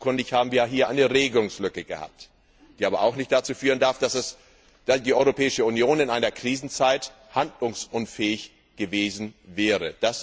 Offenkundig haben wir hier eine Regelungslücke gehabt, die aber auch nicht dazu führen darf, dass die Europäische Union in einer Krisenzeit handlungsunfähig gewesen wäre.